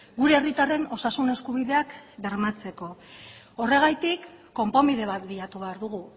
gure herritarren osasun eskubideak bermatzeko horregatik konponbide bat bilatu behar dugu